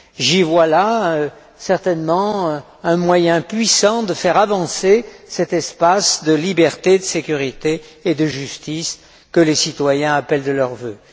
J'y vois là certainement un moyen puissant de faire avancer cet espace de liberté, de sécurité et de justice que les citoyens appellent de leurs vœux.